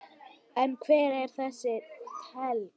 En hver eru þessi tengsl?